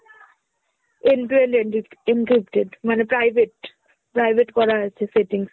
end to end encryp~ encrypted মানে private, private করা আছে settings।